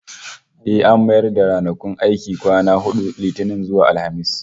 Eh, an mayar da ranakun aiki kwana hudu, Litinin zuwa Alhamis